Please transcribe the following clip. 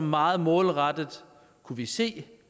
meget målrettet kunne vi se